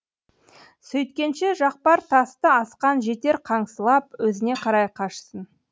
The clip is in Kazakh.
сөйткенше жақпар тасты асқан жетер қаңсылап өзіне қарай қашсын